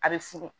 A bɛ funu